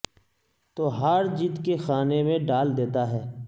تو ہار جیت کے خانے میں ڈال دیتا ہے